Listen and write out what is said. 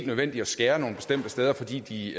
nødvendigt at skære nogle bestemte steder fordi de